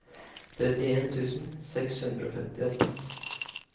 trettien tusen seks hundre og femtiåtte